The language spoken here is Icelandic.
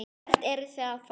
Hvert eruð þið að fara?